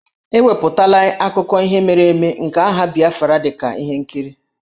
E wepụtala akụkọ ihe mere eme nke agha Biafra dị ka ihe nkiri.